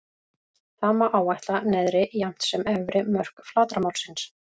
Þá má áætla neðri jafnt sem efri mörk flatarmálsins.